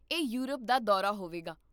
ਇਹ ਯੂਰਪ ਦਾ ਦੌਰਾ ਹੋਵੇਗਾ